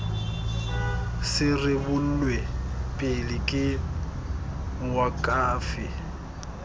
se rebolwe pele ke moakhaefe